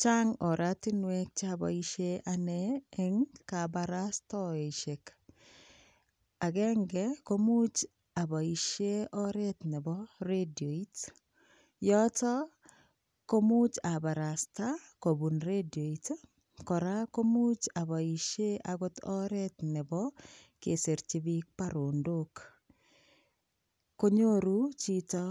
Chang oratinwek choboisie ane eng, kabarastoisiek. Agenge ko much aboisien oret nebo redioit. Yoto komuch abarasta kobun redioit. Kora komuch aboisie agot oret nebo kesirchi biik barondok konyoru chito